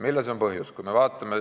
Milles on põhjus?